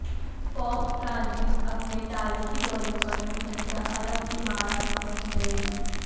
pope Francis اپنے تاریخی دورے پر متحدہ عرب امارات پہنچ گئے